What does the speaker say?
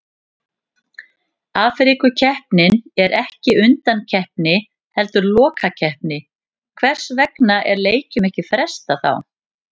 Afríkukeppnin er ekki undankeppni heldur lokakeppni, hvers vegna er leikjum ekki frestað þá?